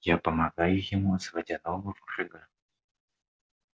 я помогаю ему заводя нового врага